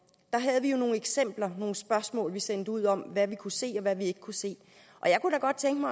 havde vi jo nogle eksempler og nogle spørgsmål vi sendte ud om hvad vi kunne se og hvad vi ikke kunne se